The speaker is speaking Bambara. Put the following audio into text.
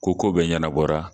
Ko ko bɛɛ ɲɛnabɔra